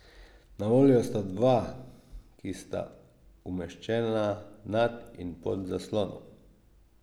Na voljo sta dva, ki sta umeščena nad in pod zaslonom.